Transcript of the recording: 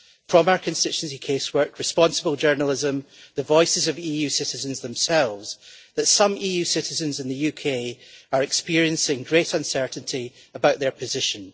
from our constituency casework, responsible journalism and the voices of EU citizens themselves, that some EU citizens in the UK are experiencing great uncertainty about their position.